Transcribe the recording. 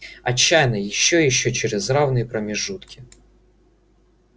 отчаянно ещё и ещё через равные промежутки